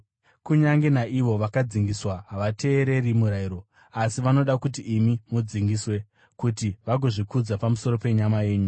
Kunyange naivo vakadzingiswa havateereri murayiro, asi vanoda kuti imi mudzingiswe, kuti vagozvikudza pamusoro penyama yenyu.